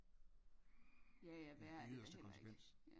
jaja værre er det da heller ikke